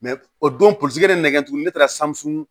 o don polisi de bɛ nɛgɛ tugun ne taara sanu